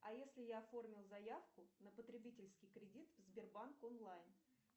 а если я оформил заявку на потребительский кредит в сбербанк онлайн